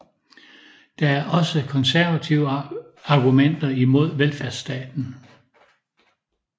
Der er også konservative argumenter imod velfærdsstaten